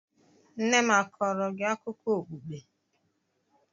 Nne m a kọọrọ gị akụkọ okpukpe?